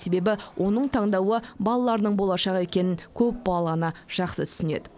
себебі оның таңдауы балаларының болашағы екенін көпбалалы ана жақсы түсінеді